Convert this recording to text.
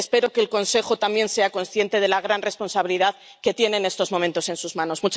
Espero que el Consejo también sea consciente de la gran responsabilidad que tiene en estos momentos en sus manos.